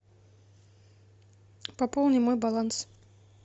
пополни мой баланс